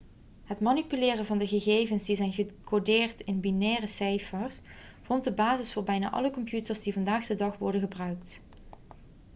het manipuleren van gegevens die zijn gecodeerd in binaire cijfers vormt de basis voor bijna alle computers die vandaag de dag worden gebruikt